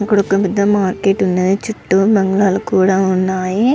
ఇక్కడ ఒక మార్కెట్ కూడా వున్నది. చుట్టూ బంగ్లాలు కూడా వున్నాయి.